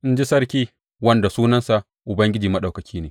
in ji Sarki, wanda sunansa Ubangiji Maɗaukaki ne.